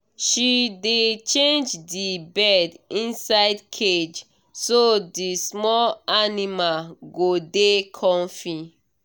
she dey change the bed inside cage so the small animal go dey comfy